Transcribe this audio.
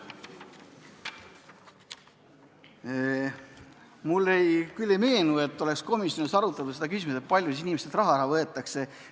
Mulle küll ei meenu, et komisjonis oleks arutatud seda küsimust, kui palju inimestelt raha ära võetakse.